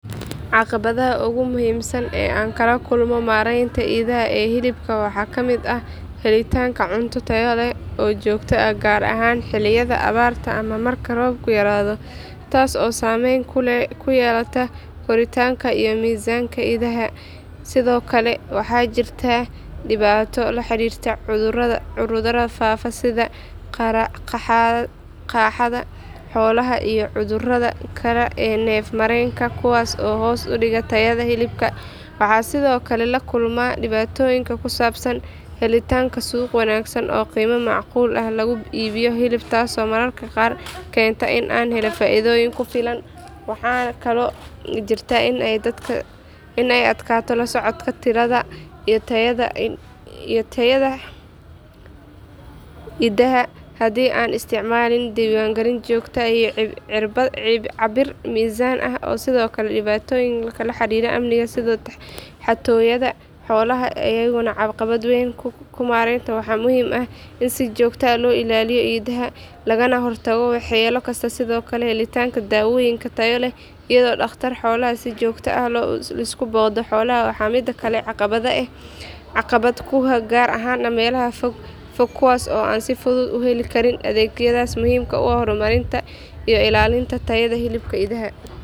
Caqabadaha ugu muhiimsan ee aan kala kulmo maareynta idaha ee hilibka waxaa ka mid ah helitaanka cunto tayo leh oo joogto ah gaar ahaan xilliyada abaarta ama marka roobku yaraado taas oo saameyn ku yeelata koritaanka iyo miisaanka idaha sidoo kale waxaa jirta dhibaato la xiriirta cudurrada faafa sida qaaxada xoolaha iyo cudurrada kale ee neef mareenka kuwaas oo hoos u dhiga tayada hilibka waxaan sidoo kale la kulmaa dhibaatooyinka ku saabsan helitaanka suuq wanaagsan oo qiimo macquul ah lagu iibiyo hilibka taasoo mararka qaar keenta in aanan helin faa’iido ku filan waxaa kaloo jirta in ay adkaato la socodka tirada iyo tayada idaha haddii aanan isticmaalin diiwaangelin joogto ah iyo cabbir miisaan ah sidoo kale dhibaatooyinka la xiriira amniga sida xatooyada xoolaha ayaa iyagana caqabad weyn ku ah maareynta waxaana muhiim ah in si joogto ah loo ilaaliyo idaha lagana hortago waxyeello kasta sidoo kale helitaanka daawooyin tayo leh iyo dhaqtar xoolaha oo si joogto ah u soo booqda xoolaha waa mid kale oo caqabad ku ah gaar ahaan meelaha fog fog kuwaas oo aan si fudud u heli karin adeegyadaas muhiimka u ah horumarinta iyo ilaalinta tayada hilibka idaha.